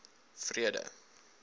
vrede